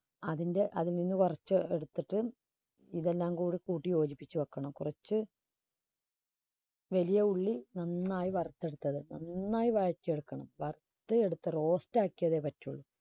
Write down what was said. അതിൻറെ അതിൽ നിന്ന് വറച്ച് എടുത്തിട്ട് ഇതെല്ലാം കൂടി കൂട്ടി യോജിപ്പിച്ച് വെക്കണം കുറച്ച് വലിയ ഉള്ളി നന്നായി വറുത്തെടുത്തത് നന്നായി വറച്ചെടുക്കണം വറുത്ത് എടുത്ത് roast ആക്കിയാലേ പറ്റുളളൂ.